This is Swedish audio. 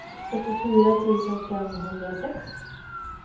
fyrtiofyra tusen femhundrasex